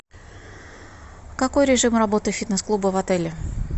какой режим работы фитнес клуба в отеле